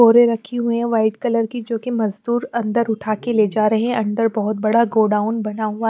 बोरे रखी हुई है वाइट कलर की जो कि मजदूर अंदर उठा के ले जा रहे हैं अंदर बहुत बड़ा गोडाउन बना हुआ--